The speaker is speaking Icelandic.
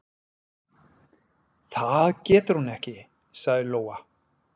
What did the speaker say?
"""Það getur hún ekki, sagði Lóa."""